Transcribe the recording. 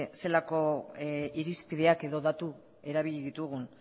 zelako irizpideak edo datu erabili ditugun